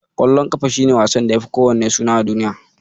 Ƙwallon ƙafa shi ne wasan da yafi kowanne suna a duniya.